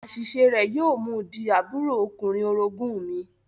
Àṣiṣe rẹ̀ yóò mú u di àbúrò ọkùnrin orogún mi